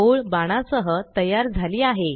ओळ बाणा सह तयार झाली आहे